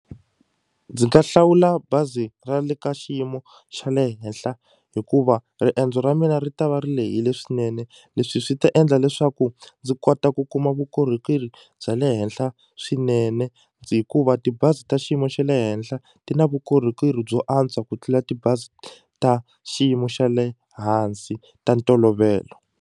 Ndzi nga hlawula bazi ra le ka xiyimo xa le henhla hikuva riendzo ra mina ri ta va ri lehile swinene leswi swi ta endla leswaku ndzi kota ku kuma vukorhokeri bya le henhla swinene hikuva tibazi ta xiyimo xa le henhla ti na vukorhokeri byo antswa ku tlula tibazi ta xiyimo xa le hansi ta ntolovelo.